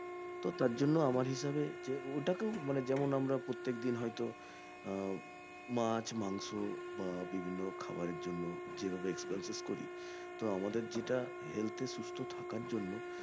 তো তার জন্য আমার হিসেবে যে ওটা কেউ মানে যেমন আমরা প্রত্যেকদিন হয়তো আহ মাছ মাংস বা বিভিন্ন খাবারের জন্য যেভাবে expenses করি তো আমাদের যেটা health এর সুস্থ থাকার জন্য